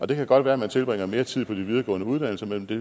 det kan godt være at man tilbringer mere tid på de videregående uddannelser men det